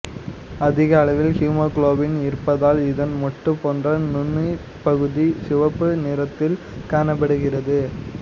அதிக அளவில் ஹீமோகுளோபின் இருப்பதால் இதன் மொட்டு போன்ற நுனிப்பகுதி சிவப்பு நிறத்தில் காணப்படுகிறது